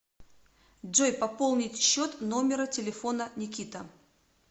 джой пополнить счет номера телефона никита